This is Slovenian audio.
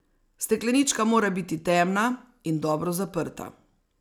Steklenička mora biti temna in dobro zaprta.